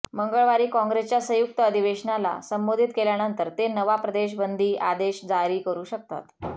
मंगळवारी काँग्रेसच्या संयुक्त अधिवेशनाला संबोधित केल्यानंतर ते नवा प्रवेश बंदी आदेश जारी करू शकतात